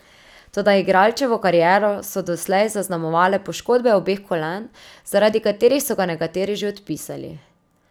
Toda igralčevo kariero so doslej zaznamovale poškodbe obeh kolen, zaradi katerih so ga nekateri že odpisali.